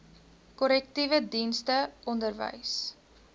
korrektiewe dienste onderwys